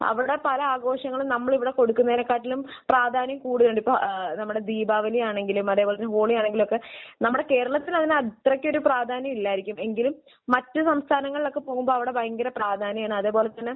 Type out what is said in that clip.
അവിടെ പല ആഘോഷങ്ങളും നമ്മൾ ഇവിടെ കൊടുക്കുന്നതിനേക്കാളും പ്രാധാന്യം കൂടുന്നുണ്ട്. ഇപ്പോൾ ഏഹ് നമ്മുടെ ദീപാവലിയാണെങ്കിലും അതുപോലെ തന്നെ ഹോളിയാണെങ്കിലും ഒക്കെ നമ്മുടെ കേരളത്തിൽ അതിന് അത്രക്ക് ഒരു പ്രാധാന്യം ഇല്ലായിരിക്കും. എങ്കിലും മറ്റു സംസ്ഥാനങ്ങളിലൊക്കെ പോകുമ്പോൾ അവിടെ ഭയങ്കര പ്രാധാന്യമാണ്. അതുപോലെ തന്നെ